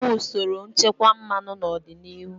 A ga-enwe usoro nchekwa mmanụ n'ọdịnihu.